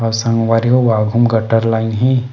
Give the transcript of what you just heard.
अउ संवरी हो गटर लाइन हे।